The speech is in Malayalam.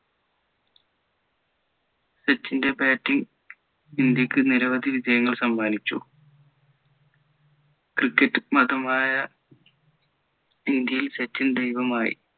സച്ചിൻ്റെ batting ഇന്ത്യയ്ക്ക് നിരവധി വിജയങ്ങൾ സമ്മാനിച്ചു cricket മതമായ ഇന്ത്യയിൽ സച്ചിൻ ദൈവമായി